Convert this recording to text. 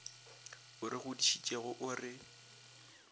o re godišitšego o re